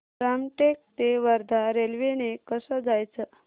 रामटेक ते वर्धा रेल्वे ने कसं जायचं